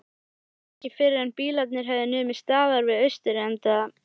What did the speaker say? Það var ekki fyrren bílarnir höfðu numið staðar við austurenda